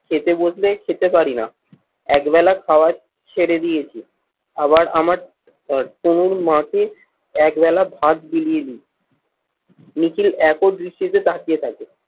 খেতে বসলে খেতে পারি না। একবেলা খাবার ছেড়ে দিয়েছি। আবার আমার তনুর মাকে একবেলা ভাত বিলিয়ে দিই। নিখিল একদৃষ্টিতে তাকিয়ে থাকে।